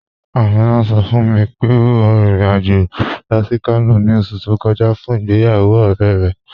Aminà sọ̀ fún mi pé ó rìn ìrìn-àjọ̀ lọ sí Kànò ni ọ̀ṣù tó kọja fún ìgbéyàwó ọ̀rẹ̀ rẹ.